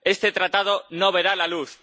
Este tratado no verá la luz.